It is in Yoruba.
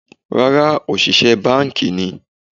Ràrài, òṣìṣẹ́ báànkì ni.